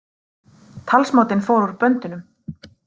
Talsmátinn fór úr böndunum